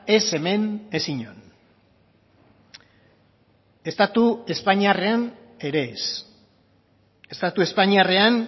ez hemen ez inon estatu espainiarrean ere ez estatu espainiarrean